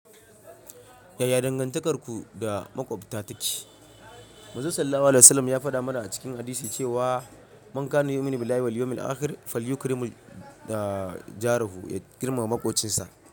Yaya dangantakarku da maƙwabta take? Manzon Sallallahu Alaihi Wasallam ya faɗa mana a cikin hadisi cewa, "Mankani yumin bilahi wal yawmil akhir fal yukrimul jarihu." Ya girmama maƙwobcinsa.